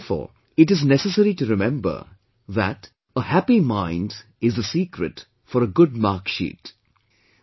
And therefore it is necessary to remember that 'a happy mind is the secret for a good mark sheet'